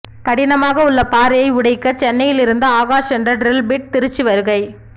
கடினமாக உள்ள பாறையை உடைக்க சென்னையில் இருந்து ஆகாஷ் என்ற டிரில் பிட் திருச்சி வருகை